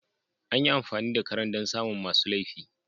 Anyi amfani da karen don samu masu lefin